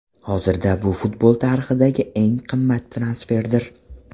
Hozirda bu futbol tarixidagi eng qimmat transferdir.